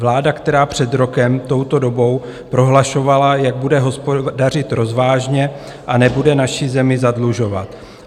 Vláda, která před rokem touto dobou prohlašovala, jak bude hospodařit rozvážně a nebude naši zemi zadlužovat.